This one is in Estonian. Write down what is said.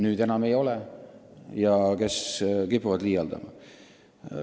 Nüüd on see probleem väiksem ja inimesed kipuvad liialdama.